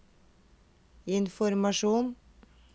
informasjon